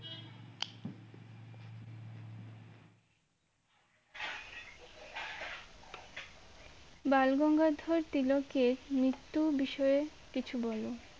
বালগঙ্গাধর তিলকের মৃত্যু বিষয়ে কিছু বলো